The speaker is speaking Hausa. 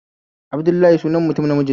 Abdullahi sunan mtum namiji